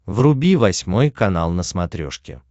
вруби восьмой канал на смотрешке